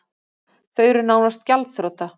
Þau eru nánast gjaldþrota